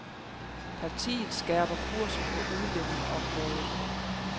Partiet skærper kursen på udlændingeområdet.